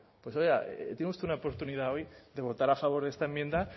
pues oiga tiene usted una oportunidad hoy de votar a favor de esta enmienda